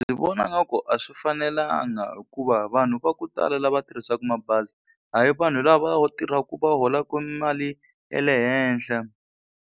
Ndzi vona nga ku a swi fanelanga hikuva vanhu va ku tala lava tirhisaka mabazi a hi vanhu lava tirhaku va holaku mali ya le henhla.